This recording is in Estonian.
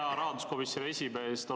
Hea rahanduskomisjoni esimees!